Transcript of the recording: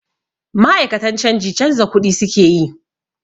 Ma'akatan canji canza kuɗi su ke yi.